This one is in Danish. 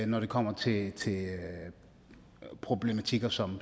når det kommer til problematikker som